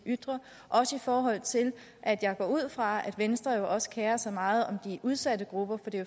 ytrer også i forhold til at jeg går ud fra at venstre jo også kerer sig meget om de udsatte grupper for det